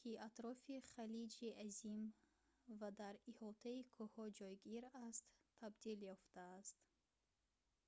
ки дар атрофи халиҷи азим ва дар иҳотаи кӯҳҳо ҷойгир аст табдил ёфтааст